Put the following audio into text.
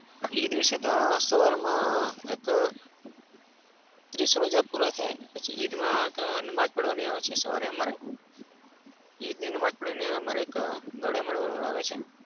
ઈદ વિશે તો સવારમાં એક ત્રીસ રોજા પુરા થાય પછી ઈદમાં નમાજ પઢવાની આવે છે સવારે અમારે. ઈદની નમાજ પઢીને એક ગળે મળવાનું આવે છે અમારે.